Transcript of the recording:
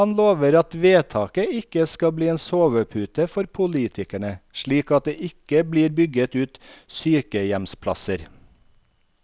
Han lover at vedtaket ikke skal bli en sovepute for politikerne, slik at det ikke blir bygget ut sykehjemsplasser.